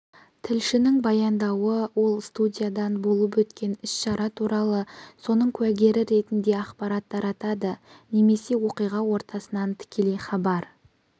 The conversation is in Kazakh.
тілшінің баяндауы ол студиядан болып өткен іс-шара туралы соның куәгері ретінде ақпарат таратады немесе оқиға ортасынан тікелей хабар